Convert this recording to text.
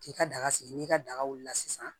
K'i ka daga sigi n'i ka daga wulila sisan